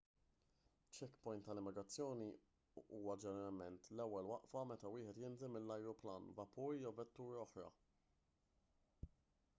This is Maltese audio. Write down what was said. checkpoint tal-immigrazzjoni huwa ġeneralment l-ewwel waqfa meta wieħed jinżel minn ajruplan vapur jew vettura oħra